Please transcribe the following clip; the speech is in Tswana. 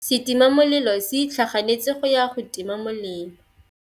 Setima molelô se itlhaganêtse go ya go tima molelô.